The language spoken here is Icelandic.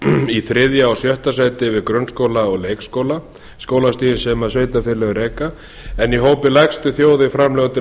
í þriðja og sjötta sæti við grunnskóla og leikskóla skólastigin sem sveitarfélögin reka en í hópi lægstu þjóða í framlög til